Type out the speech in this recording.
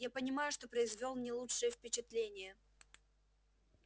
я понимаю что произвёл не лучшее впечатление